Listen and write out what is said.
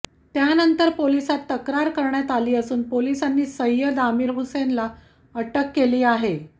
त्यानंतर पोलिसात तक्रार करण्यात आली असून पोलिसांनी सय्यद आमीर हुसेनला अटक केली आहे